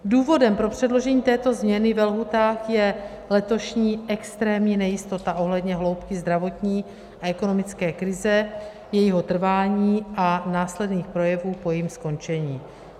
Důvodem pro předložení této změny ve lhůtách je letošní extrémní nejistota ohledně hloubky zdravotní a ekonomické krize, jejího trvání a následných projevů po jejím skončení.